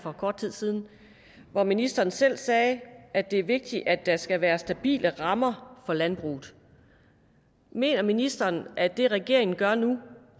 for kort tid siden hvor ministeren selv sagde at det er vigtigt at der skal være stabile rammer for landbruget mener ministeren at det regeringen gør nu